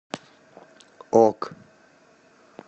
ок